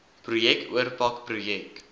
projek oorpak projek